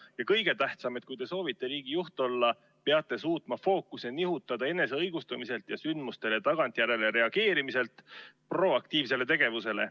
Ja kõige tähtsam: kui te soovite riigijuht olla, siis peate suutma fookuse nihutada eneseõigustamiselt ja sündmustele tagantjärele reageerimiselt proaktiivsele tegevusele.